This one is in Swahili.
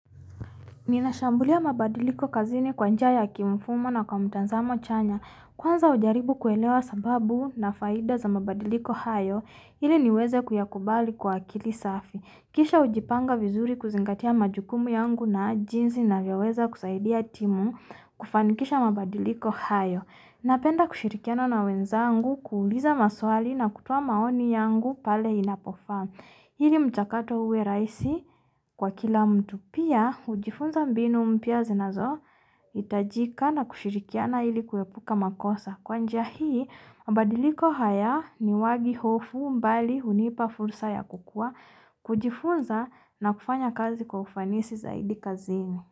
Ninashambulia mabadiliko kazini kwa njia ya kimfumo na kwa mtazamo chanya. Kwanza, hujaribu kuelewa sababu na faida za mabadiliko hayo ili niweze kuyakubali kwa akili safi. Kisha hujipanga vizuri, kuzingatia majukumu yangu na jinsi ninavyoweza kusaidia timu kufanikisha mabadiliko hayo. Napenda kushirikiana na wenzangu, kuuliza maswali na kutoa maoni yangu pale inapofaa. Ili mchakato uwe rahisi kwa kila mtu pia, hujifunza mbinu mpya zinazohitajika na kushirikiana ili kuepuka makosa. Kwa njia hii, mabadiliko haya hayatoi hofu, bali hunipa fursa ya kukua, kujifunza na kufanya kazi kwa ufanisi zaidi kazini.